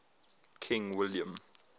king william